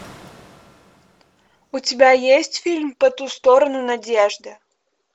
у тебя есть фильм по ту сторону надежды